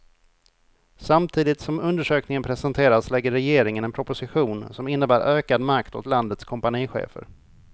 Samtidigt som undersökningen presenteras lägger regeringen en proposition som innebär ökad makt åt landets kompanichefer.